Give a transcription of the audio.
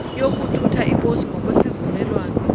yokuthutha iposi ngokwezivumelwano